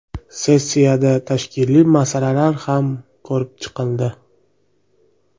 Sessiyada tashkiliy masalalar ham ko‘rib chiqildi.